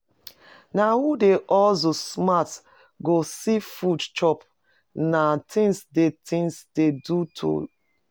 Na who dey hustle smart go see food chop na things dey things dey to do